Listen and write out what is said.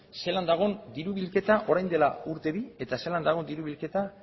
zelan dagon diru bilketa orain dela urte bi eta zelan dagon diru bilketa